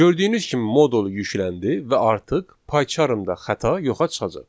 Gördüyünüz kimi modul yükləndi və artıq Paycharmda xəta yoxa çıxacaq.